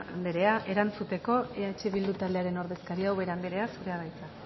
andrea erantzuteko eh bildu taldearen ordezkaria ubera andrea zurea da hitza